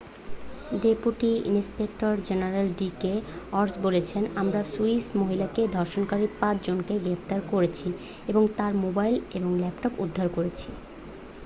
"Deputy inspector general D K Arya বলেছেন "আমরা Swiss মহিলাকে ধর্ষণকারী পাঁচ জনকে গ্রেপ্তার করেছি এবং তার মোবাইল এবং ল্যাপটপ উদ্ধার করেছি""।